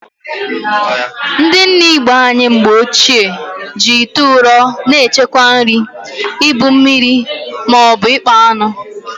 Ndị nne Igbo anyị na mgbochie, ji ite ụrọ na-echekwa nri, ibu mmiri, ma ọbụ ịkpa aṅụ.